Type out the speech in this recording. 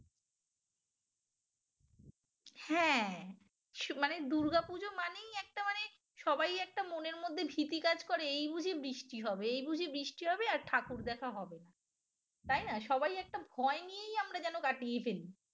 হ্যাঁ মানে দুর্গাপুজো মানেই একটা মানে সবাই একটা মনের মধ্যে ভীতি কাজ করে এই বুঝি বৃষ্টি হবে এই বুঝি বৃষ্টি হবে আর ঠাকুর দেখা হবে না তাই না সবাই একটা ভয় নিয়েই আমরা যেন কাটিয়ে ফেলি